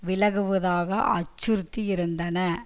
விலகுவதாக அச்சுறுத்தியிருந்தன